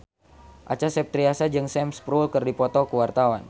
Acha Septriasa jeung Sam Spruell keur dipoto ku wartawan